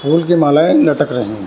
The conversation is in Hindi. फूल के मलायें लटक रहे हैं।